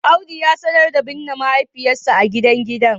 Audu ya sanar da binne mahaifiyarsa a gidan gidan